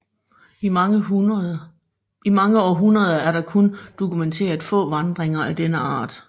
I mange århundreder er der kun dokumenteret få vandringer af denne art